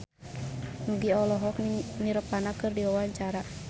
Nugie olohok ningali Nirvana keur diwawancara